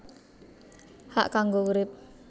Hak kanggo urip